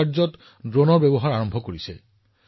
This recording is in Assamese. জৰুৰীকালীন অৱস্থাত সহায় বা আইনশৃংখলা নিৰীক্ষণ কৰা